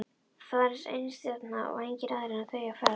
Þar var einstefna og engir aðrir en þau á ferð.